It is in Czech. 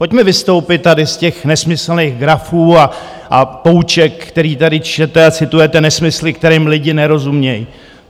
Pojďme vystoupit tady z těch nesmyslných grafů a pouček, které tady čtete a citujete nesmysly, kterým lidé nerozumí.